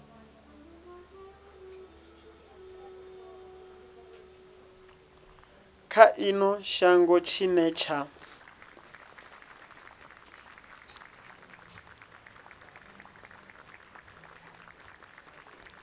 kha ino shango tshine tsha